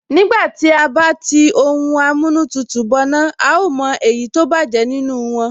Nígbà tí à bá tí ohun amóhun tutù bọná, a ó mọ èyí tó bájẹ̀ nínú wọn